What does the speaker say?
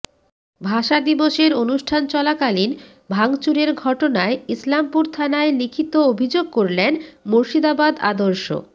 ভাষা দিবসের অনুষ্ঠান চলাকালীন ভাঙচুরের ঘটনায় ইসলামপুর থানায় লিখিত অভিযোগ করলেন মুর্শিদাবাদ আদর্শ